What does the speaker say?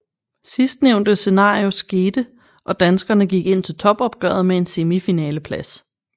Sidstnævnte scenario skete og danskerne gik ind til topopgøret med en semifinaleplads